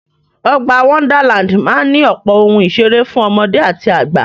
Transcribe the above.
Ọgbà Wonderland máa ní ọ̀pọ̀ ohun ìseré fún ọmọdé àti àgbà.